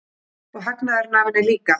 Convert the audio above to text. Og hagnaðurinn af henni líka.